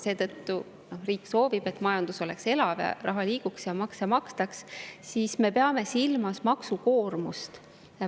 Kuna riik soovib, et majandus oleks elav, raha liiguks ja makse makstaks, siis me peame silmas maksukoormust.